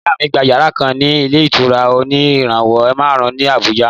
Ìyá mí gbà yàrá kan ni ìlé ìtura òní ìràwọ màrún ní àbújá